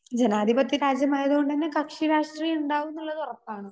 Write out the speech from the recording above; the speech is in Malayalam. സ്പീക്കർ 2 ജനാധിപത്യ രാജ്യം ആയതുകൊണ്ടുതന്നെ കക്ഷിരാഷ്ട്രീയം ഉണ്ടാവും എന്നുള്ളത് ഉറപ്പാണ്.